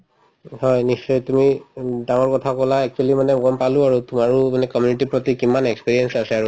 হয়, নিশ্চয় তুমি উম ডাঙৰ কথা কলা actually মানে গম পালো আৰু তোমাৰো মানে community ৰ প্ৰতি কিমান experience আছে আৰু